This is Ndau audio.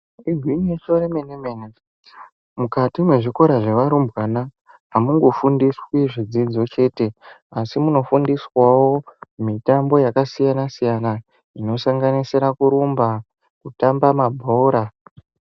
Igwinyiso remene-mene, mukati mezvikora zvevarumbwana amungofundiswi zvidzidzo chete asi munofundiswawo mitambo yakasiyana-siyana zvinosanganisira kurumba, kutamba mabhora.